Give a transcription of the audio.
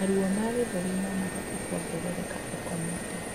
Maruo ma gĩthũri nomahote kuongerereka ukomete